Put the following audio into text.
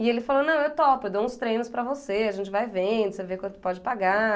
E ele falou, não, eu topo, eu dou uns treinos para você, a gente vai vendo, você vê quanto pode pagar.